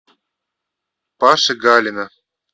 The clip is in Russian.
паши галина